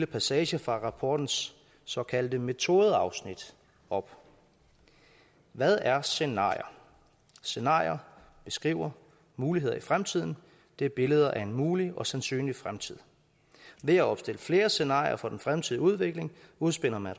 passager fra rapportens såkaldte metodeafsnit op hvad er scenarier scenarier beskriver muligheder i fremtiden det er billeder af en mulig og sandsynlig fremtid ved at opstille flere scenarier for den fremtidige udvikling udspænder man